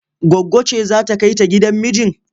Goggo ce za ta kai ta gidan mijin?